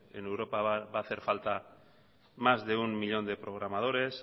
en europa va a hacer falta más de un millón de programadores